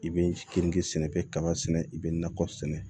I bɛ keninke sɛnɛ i bɛ kaba sɛnɛ i bɛ nakɔ sɛnɛ